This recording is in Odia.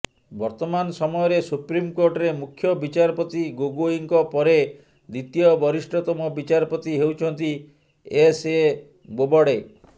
ବର୍ତ୍ତମାନ ସମୟରେ ସୁପ୍ରିମକୋର୍ଟରେ ମୁଖ୍ୟ ବିଚାରପତି ଗୋଗୋଇଙ୍କ ପରେ ଦ୍ୱିତୀୟ ବରିଷ୍ଠତମ ବିଚାରପତି ହେଉଛନ୍ତି ଏସଏ ବୋବଡେ